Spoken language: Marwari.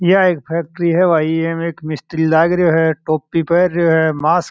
यह एक फैक्ट्री है इसमें एक मिस्त्री है टोपी पहना है मास्क --